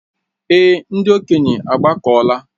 Èé, ndị okenye agbakọla.